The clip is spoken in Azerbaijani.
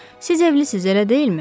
Siz evlisiz, elə deyilmi?